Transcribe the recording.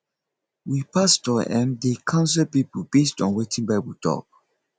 we pastor um dey counsel pipo based on wetin bible tok